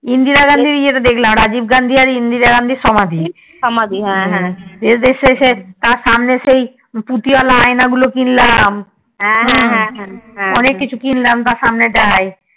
ইন্দিরা গান্ধী যে দেখলাম রাজীব গান্ধী আর ইন্দিরা গান্ধীর সমাধি তার শেষে তার সামনে সেই পুঁথির য়ালা আয়না গুলো কিনলাম অনেক কিছু কিনলাম তার সামনে তাই